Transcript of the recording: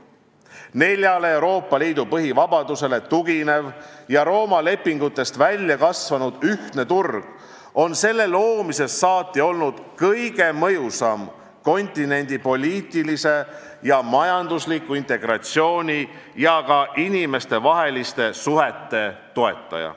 Neljale Euroopa Liidu põhivabadusele tuginev ja Rooma lepingutest välja kasvanud ühtne turg on selle loomisest saati olnud kõige mõjusam kontinendi poliitilise ja majandusliku integratsiooni ja ka inimestevaheliste suhete toetaja.